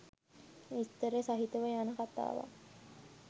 විස්තර සහිතව යන කතාවක්.